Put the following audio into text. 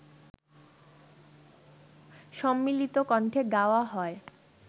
সম্মিলিত কণ্ঠে গাওয়া হয়